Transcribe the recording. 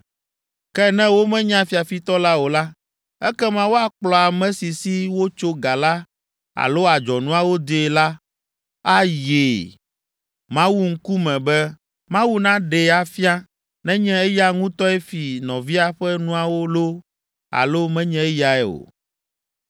Ke ne womenya fiafitɔ la o la, ekema woakplɔ ame si si wotsɔ ga la alo adzɔnuawo dee la ayi Mawu ŋkume be Mawu naɖee afia nenye eya ŋutɔe fi nɔvia ƒe nuawo loo alo menye eyae o.